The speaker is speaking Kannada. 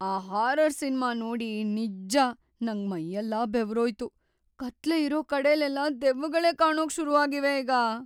ಆ ಹಾರರ್‌ ಸಿನ್ಮಾ ನೋಡಿ ನಿಜ್ಜ ನಂಗ್ ಮೈಯೆಲ್ಲ ಬೆವರೋಯ್ತು.. ಕತ್ಲೆ ಇರೋ ಕಡೆಲೆಲ್ಲ ದೆವ್ವಗಳೇ ಕಾಣೋಕ್‌ ಶುರು ಆಗಿವೆ ಈಗ.